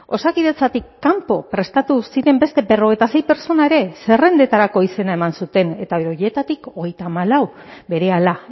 osakidetzatik kanpo prestatu ziren beste berrogeita sei pertsona ere zerrendetarako izena eman zuten eta horietatik hogeita hamalauk berehala